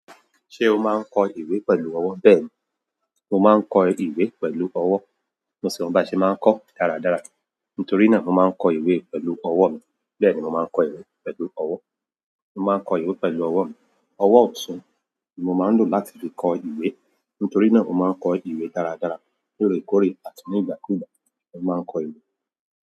Ṣé o máa ń kọ ìwé pẹ̀lú ọwọ́? Bẹ́ẹ̀ni, mo máa ń kọ ìwé pẹ̀lú ọwọ́. Mo sì mọ bí a ṣe máa ń kọọ́ dáradára. Nítorí náà mo máa ń kọ ìwé pẹ̀lú ọwọ́ mi. Bẹ́ẹ̀ni mo máa ń kọ ìwé pẹ̀lú ọwọ́. Mo máa ń kọ ìwé pẹ̀lú ọwọ́ mi. Ọwọ́ ọ̀tún ni mo máa ń lò láti fi kọ ìwé. Nítorí náà mo máa ń kọ ìwé dáradára lóòrèkóòrè àti nígbàkúùgbà mo máa ń kọ ìwé.